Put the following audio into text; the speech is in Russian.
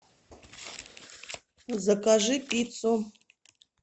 закажи пиццу